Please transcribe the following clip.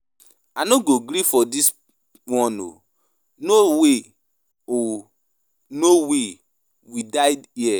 I no go gree for dis one oo. No way, we die here.